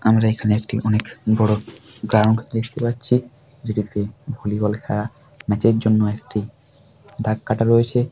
আমরা এখানে একটি অনেক বড়ো গ্রাউন্ড দেখতে পাচ্ছি। যেটিতে ভলিবল খেলা ম্যাচ এর জন্যে একটি দাগ কাটা রয়েছে।